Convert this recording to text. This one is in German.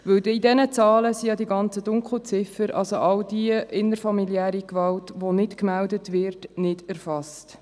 Denn in diesen Zahlen ist ja die Dunkelziffer, also die innerfamiliäre Gewalt, die nicht gemeldet wird, nicht erfasst.